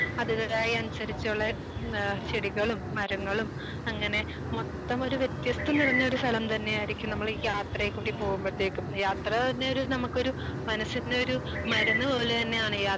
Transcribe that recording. സ്ഥലങ്ങളിലും അതിൻ്റെതായ അനുസരിച്ച് ഉള്ള ഏഹ് ചെടികളും മരങ്ങളും അങ്ങനെ മൊത്തം ഒരു വ്യത്യസ്തം നിറഞ്ഞ ഒരു സ്ഥലം തന്നെ ആയിരിക്കും നമ്മള് ഈ യാത്രയും കൂടി പോകുമ്പോഴത്തേക്കും യാത്രതന്നെ ഒരു നമുക്ക് ഒരു മനസ്സിന്ന് ഒരു മരുന്ന് പോലെ തന്നെയാണ് യാത്ര